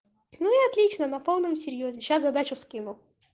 ну и отлично на полном серьёзе сейчас задачу скину